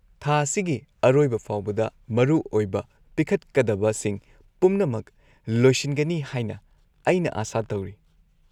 -ꯊꯥ ꯑꯁꯤꯒꯤ ꯑꯔꯣꯏꯕ ꯐꯥꯎꯕꯗ ꯃꯔꯨꯑꯣꯏꯕ ꯄꯤꯈꯠꯀꯗꯕꯁꯤꯡ ꯄꯨꯝꯅꯃꯛ ꯂꯣꯏꯁꯤꯟꯒꯅꯤ ꯍꯥꯏꯅ ꯑꯩꯅ ꯑꯥꯁꯥ ꯇꯧꯔꯤ꯫